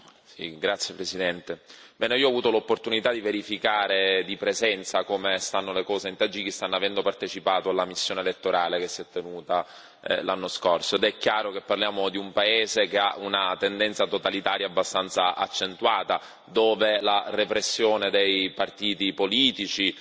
Signor Presidente, onorevoli colleghi, io ho avuto l'opportunità di verificare di persona come stanno le cose in Tagikistan, avendo partecipato alla missione elettorale che si è tenuta l'anno scorso. È chiaro che parliamo di un paese che ha una tendenza totalitaria abbastanza accentuata, dove c'è repressione dei partiti politici